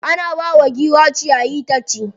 Ana bawa giwa ciyayi ta ci.